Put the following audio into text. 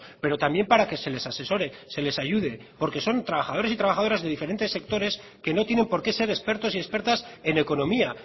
pero también para que se les asesore se les ayude porque son trabajadores y trabajadoras de diferentes sectores que no tienen por qué ser expertos y expertas en economía